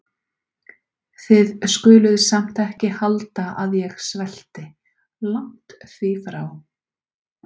Þið skuluð samt ekki halda að ég svelti- langt því frá.